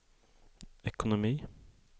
ekonomi